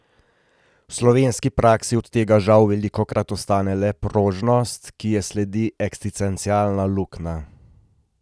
V slovenski praksi od tega žal velikokrat ostane le prožnost, ki ji sledi eksistencialna luknja.